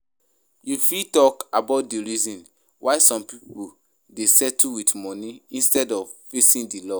You fit talk about di reasons why some people dey settle with money instead of facing di law.